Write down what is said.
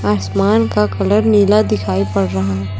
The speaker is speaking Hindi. आसमान का कलर नीला दिखाई पड़ रहा है।